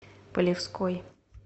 полевской